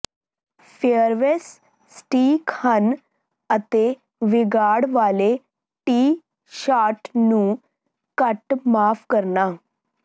fairways ਸਟੀਕ ਹਨ ਅਤੇ ਵਿਗਾੜ ਵਾਲੇ ਟੀ ਸ਼ਾਟ ਨੂੰ ਘੱਟ ਮਾਫ ਕਰਨਾ